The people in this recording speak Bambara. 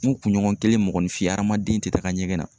N kunɲɔgɔn kelen mɔgɔninfin adamaden tɛ taaga ɲɛgɛn na.